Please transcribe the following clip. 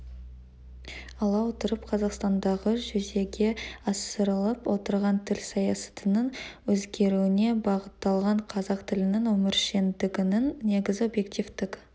ала отырып қазақстандағы жүзеге асырылып отырған тіл саясатының өзгеруіне бағытталған қазақ тілінің өміршеңдігінің негізгі объективтік